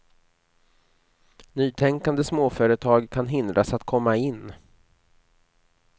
Nytänkande småföretag kan hindras att komma in.